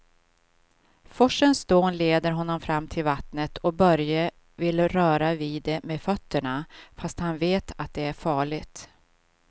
Forsens dån leder honom fram till vattnet och Börje vill röra vid det med fötterna, fast han vet att det är farligt.